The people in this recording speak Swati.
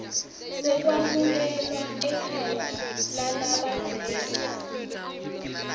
sekwamukelwa ekhaya lalabadzela